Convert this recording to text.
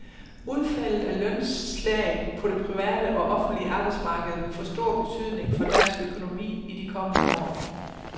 Udfaldet af lønslaget på det private og offentlige arbejdsmarked vil få stor betydning for dansk økonomi i de kommende år.